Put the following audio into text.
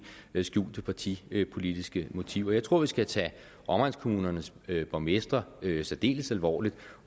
skjulte partipolitiske motiver jeg tror vi skal tage omegnskommunernes borgmestre særdeles alvorligt